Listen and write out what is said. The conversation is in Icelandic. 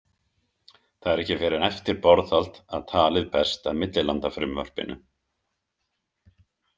Það er ekki fyrr en eftir borðhald að talið berst að millilandafrumvarpinu.